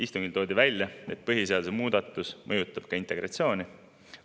Istungil toodi välja, et põhiseaduse muudatus mõjutab ka integratsiooni.